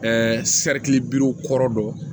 kɔrɔ dɔn